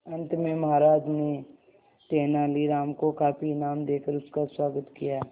अंत में महाराज ने तेनालीराम को काफी इनाम देकर उसका स्वागत किया